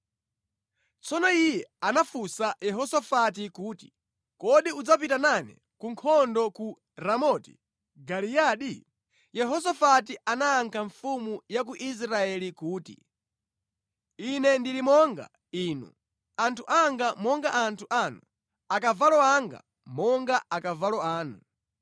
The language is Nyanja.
Tsono iye anafunsa Yehosafati kuti, “Kodi udzapita nane ku nkhondo ku Ramoti Giliyadi?” Yehosafati anayankha mfumu ya ku Israeli kuti, “Ine ndili monga inu, anthu anga monga anthu anu, akavalo anga monga akavalo anu.”